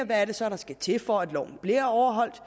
hvad der så skal til for at loven bliver overholdt og